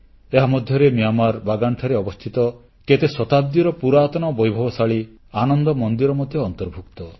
ଏହା ମଧ୍ୟରେ ମିଆଁମାରର ବାଗାନରେ ଅବସ୍ଥିତ କେତେ ଶତାବ୍ଦୀର ପୁରାତନ ବୈଭବଶାଳୀ ଆନନ୍ଦ ମନ୍ଦିର ମଧ୍ୟ ଅନ୍ତର୍ଭୁକ୍ତ